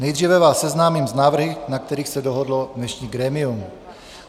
Nejdříve vás seznámím s návrhy, na kterých se dohodlo dnešní grémium.